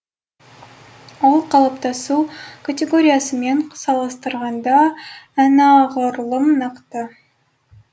ол қалыптасу категориясымен салыстырғанда анағұрлым нақты